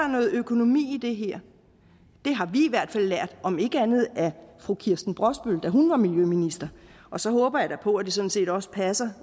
noget økonomi i det her det har vi i hvert fald lært om ikke andet af kirsten brosbøl da hun var miljøminister og så håber jeg da på at det sådan set også passede